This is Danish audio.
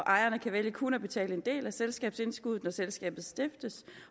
ejerne kan vælge kun at betale en del af selskabsindskuddet når selskabet stiftes